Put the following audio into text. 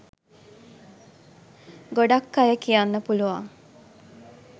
ගොඩක් අය කියන්න පුලුවන්